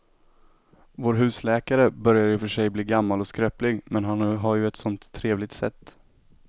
Vår husläkare börjar i och för sig bli gammal och skröplig, men han har ju ett sådant trevligt sätt!